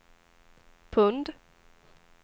pund